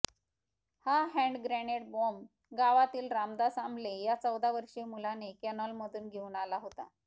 हा hand grenade bomb गावातील रामदास आम्ले या चौदा वर्षीय मुलाने कॅनॉलमधून घेऊन आला होता